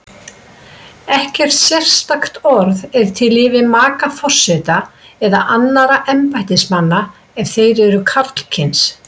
Ekkert sérstakt orð er til yfir maka forseta eða annarra embættismanna ef þeir eru karlkyns.